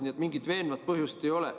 Nii et mingit veenvat põhjust ei ole.